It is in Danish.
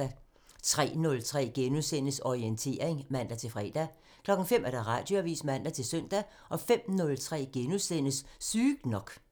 03:03: Orientering *(man-fre) 05:00: Radioavisen (man-søn) 05:03: Sygt nok *(man)